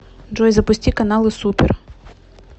джой запусти каналы супер